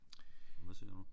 Og hvad ser du?